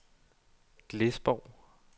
Glesborg